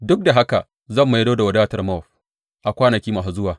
Duk da haka zan maido da wadatar Mowab a kwanaki masu zuwa,